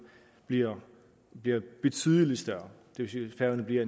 bliver betydelig større færøerne bliver